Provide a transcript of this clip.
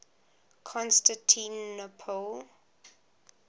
constantinople